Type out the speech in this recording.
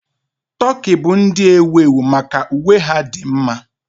Tokii bụ ndị ewu ewu maka uwe ha dị mma.